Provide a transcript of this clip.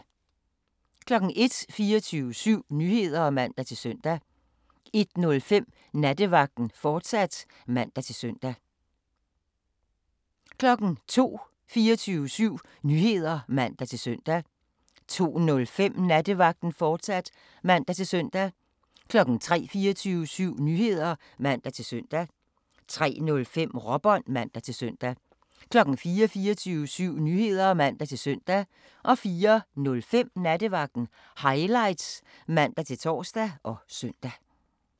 01:00: 24syv Nyheder (man-søn) 01:05: Nattevagten, fortsat (man-søn) 02:00: 24syv Nyheder (man-søn) 02:05: Nattevagten, fortsat (man-søn) 03:00: 24syv Nyheder (man-søn) 03:05: Råbånd (man-søn) 04:00: 24syv Nyheder (man-søn) 04:05: Nattevagten Highlights (man-tor og søn)